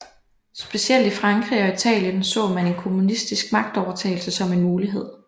Specielt i Frankrig og Italien så man en kommunistisk magtovertagelse som en mulighed